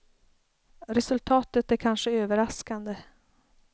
Resultatet är kanske överraskande.